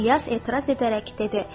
İlyas etiraz edərək dedi: